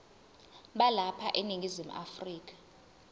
balapha eningizimu afrika